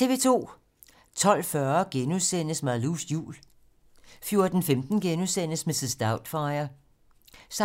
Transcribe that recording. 12:40: Malous jul * 14:15: Mrs. Doubtfire *